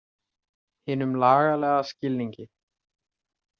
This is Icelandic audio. Hinum lagalega skilningi.